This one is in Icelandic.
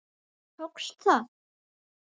Tókst það?